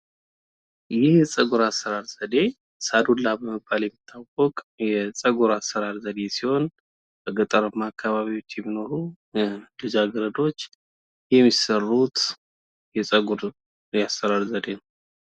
ይህ የጸጉር አሰራር ዘዴ ሳዱላ በመባል የሚታወቅ የጸጉር አሰራር ዘዴ ሲሆን በገጠራማ አካባቢዎች የሚኖሩ ልጃገረዶች የሚሰሩት የጸጉር የአሰራር ዘዴ ነው።